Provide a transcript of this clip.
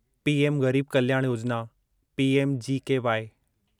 PM Garib Kalyan Yojana PMGKY